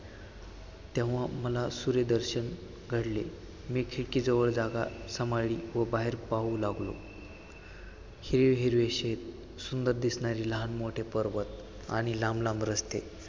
तेव्हा मला सूर्यदर्शन घडले, मी खिडकीजवळ जागा सांभाळली व बाहेर पाहू लागलो. हिरवे हिरवे शेत, सुंदर दिसणारे लहान मोठे पर्वत आणि लांब लांब रस्ते